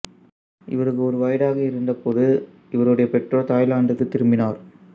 இவருக்கு ஒரு வயதாக இருந்தபோது இவருடைய பெற்றோர் தாய்லாந்துக்குத் திரும்பினர்